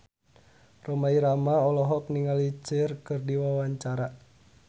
Rhoma Irama olohok ningali Cher keur diwawancara